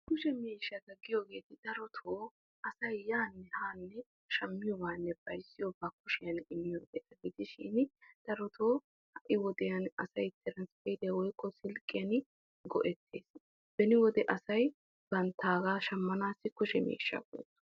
Kushe miishshatta giyoogetti asay kushiyan yaane haane immiyo miishshattanne asay silkkiyan go'ettiyo miishshatta. Beni wode asay darotto kushe miishsha go'ettees.